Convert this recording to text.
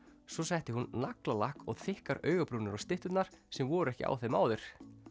svo setti hún naglalakk og þykkar augabrúnir á stytturnar sem voru ekki á þeim áður